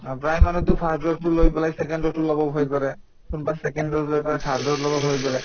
আৰু প্ৰায় মানুহ to first dose তো লৈ পেলাই second dose তো লব ভয় কৰে কোনোবাই second dose ৰ পৰা third dose লব ভয় কৰে